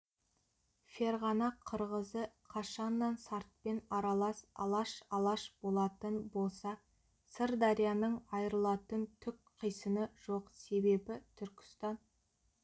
ферғана қырғызы қашаннан сартпен аралас алаш алаш болатын болса сырдарияның айырылатын түк қисыны жоқ себебі түркістан